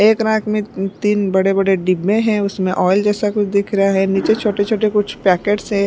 एक रैक में अ तीन बड़े बड़े डिब्बे हैं उसमें ऑयल जैसा कुछ दिख रहा है नीचे छोटे छोटे कुछ पैकेट्स है।